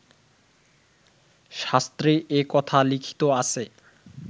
শাস্ত্রে এ কথা লিখিত আছে